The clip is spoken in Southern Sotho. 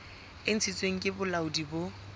e ntshitsweng ke bolaodi bo